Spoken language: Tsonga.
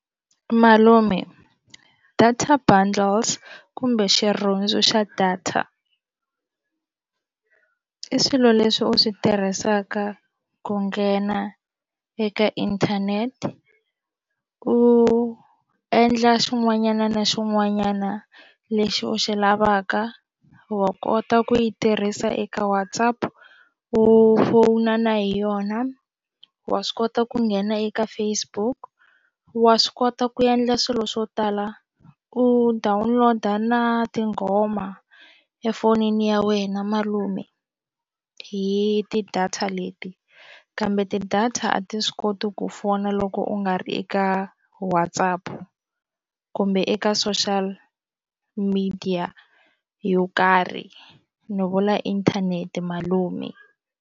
Malume data bundles kumbe xirhundzu xa data i swilo leswi u swi tirhisaka ku nghena eka inthanete u endla xin'wanyana na xin'wanyana lexi u xi lavaka wa kota ku yi tirhisa eka WhatsApp u fowuna na hi yona wa swi kota ku nghena eka Facebook wa swi kota ku endla swilo swo tala u download-a na tinghoma efonini ya wena malume hi ti-data leti kambe ti-data a ti swi koti ku fona loko u nga ri eka WhatsApp kumbe eka social media yo karhi ni vula inthanete malume.